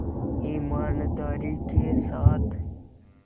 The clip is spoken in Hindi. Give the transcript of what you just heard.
ईमानदारी के साथ